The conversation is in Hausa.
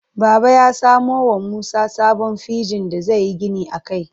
Baba ya samo wa Musa sabon fegin da zai yi gini a kai.